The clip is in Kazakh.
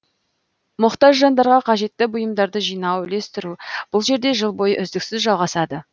мұқтаж жандарға қажетті бұйымдарды жинау үлестіру бұл жерде жыл бойы үздіксіз жалғасады